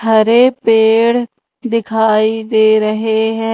हरे पेड़ दिखाई दे रहे है।